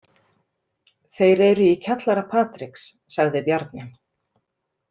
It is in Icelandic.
Þeir eru í kjallara Patriks, sagði Bjarni.